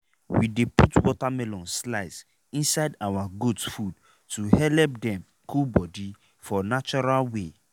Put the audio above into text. we dey put watermelon slice inside our goat food to helep dem cool body for natural way.